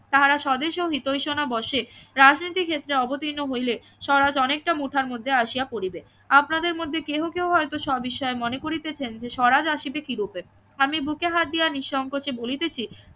তাহারা স্বদেশ ও হিতৈষণা বসে রাজনীতি ক্ষেত্রে অবতীর্ণ হইলে স্বরাজ অনেকটা মুঠার মধ্যে আসিয়া পড়িবে আপনাদের মধ্যে কেহ কেহ হয়তো সবিষয়ে মনে করিতেছেন যে স্বরাজ আসিবে কি রূপে আমি বুকে হাত দিয়া নিঃসংকোচে বলিতেছি